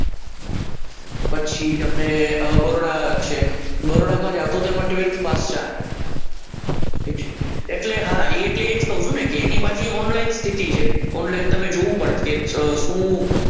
પછી તમને બરોડા છે બરોડામાં જાવ તો તેમાં ટ્વેલ્થ પાસ ચાલે ઠીક છે એટલે હા એટલે એ જ કહું છું ને એની બધી ઓનલાઇન પ્રોસેસ છે ઓનલાઇન તમારે જોવું પડત કે શું?